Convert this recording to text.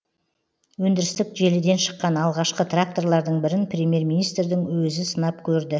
өндірістік желіден шыққан алғашқы тракторлардың бірін премьер министрдің өзі сынап көрді